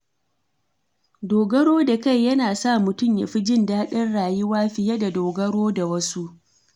Dogaro da kai yana sa mutum ya fi jin daɗin rayuwa fiye da dogaro da wasu.